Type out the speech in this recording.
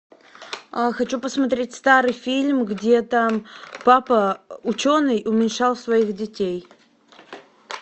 хочу посмотреть старый фильм где там папа ученый уменьшал своих детей